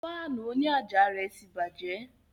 Fáànù òní àjà rẹ̀ tí bàjẹ́